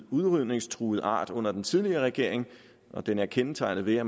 udrydningstruet art under den tidligere regering og den er kendetegnet ved at